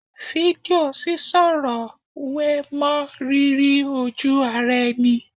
Fídíò sísọ̀rọ̀ wé mọ́ rírí ojú ara ẹni